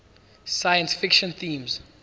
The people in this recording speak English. science fiction themes